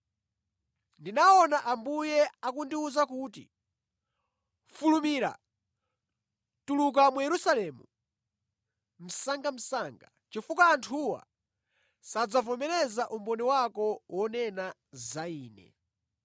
Ndinaona Ambuye akundiwuza kuti, ‘Fulumira! Tuluka mu Yerusalemu msangamsanga, chifukwa anthuwa sadzavomereza umboni wako wonena za Ine.’ ”